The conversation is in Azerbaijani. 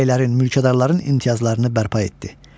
Bəylərin mülkədarların imtiyazlarını bərpa etdi.